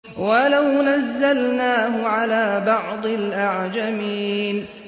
وَلَوْ نَزَّلْنَاهُ عَلَىٰ بَعْضِ الْأَعْجَمِينَ